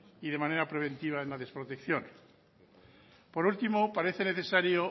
y de manera preventiva en la desprotección por último parece necesario